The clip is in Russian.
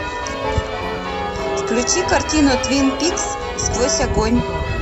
включи картину твин пикс сквозь огонь